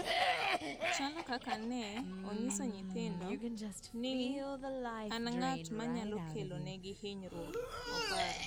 Chalo kaka ne onyiso nyithindo ni an ng’at ma nyalo kelo negi hinyruok ,” oparo.